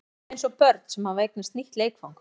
Við erum eins og börn sem hafa eignast nýtt leikfang.